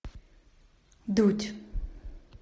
дудь